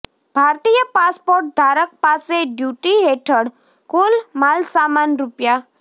ભારતીય પાસપોર્ટ ધારક પાસે ડ્યૂટી હેઠળ કુલ માલસામાન રૂ